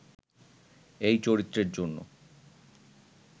এই চরিত্রের জন্য